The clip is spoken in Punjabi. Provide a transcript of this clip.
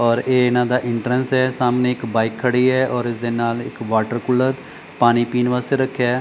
ਔਰ ਇਹ ਇਹਨਾਂ ਦਾ ਐਂਟਰੈਂਸ ਹੈ ਸਾਹਮਣੇ ਇੱਕ ਬਾਈਕ ਖੜ੍ਹੀ ਹੈ ਔਰ ਇਸਦੇ ਨਾਲ ਇੱਕ ਵਾਟਰ ਕੂਲਰ ਪਾਣੀ ਪੀਣ ਵਾਸਤੇ ਰੱਖਿਆ ਹੈ।